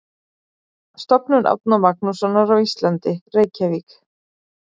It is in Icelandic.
Stofnun Árna Magnússonar á Íslandi: Reykjavík.